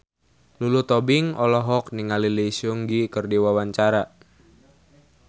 Lulu Tobing olohok ningali Lee Seung Gi keur diwawancara